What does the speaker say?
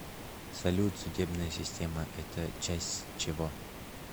салют судебная система это часть чего